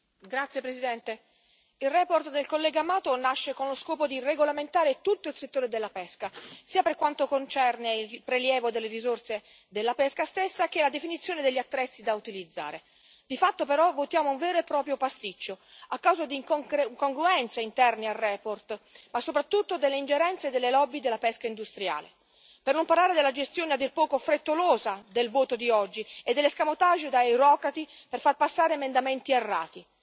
Signor Presidente, onorevoli colleghi, la relazione del collega Mato nasce con lo scopo di regolamentare tutto il settore della pesca, per quanto concerne sia il prelievo delle risorse della pesca stessa sia la definizione degli attrezzi da utilizzare. Di fatto, però, votiamo un vero e proprio pasticcio a causa di incongruenze interne alla relazione ma soprattutto delle ingerenze delle lobby della pesca industriale, per non parlare della gestione a dir poco frettolosa del voto di oggi e dell'escamotage da eurocrati per far passare emendamenti errati.